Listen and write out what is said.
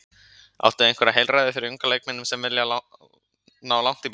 Áttu einhver heilræði fyrir unga leikmenn sem vilja ná langt í boltanum?